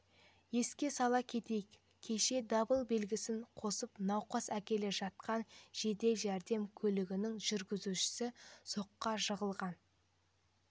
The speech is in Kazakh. еске сала кетейік кеше дабыл белгісін қосып науқас әкеле жатқан жедел жәрдем көлігінің жүргізушісі соққыға жығылған